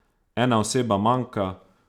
Ena oseba manjka.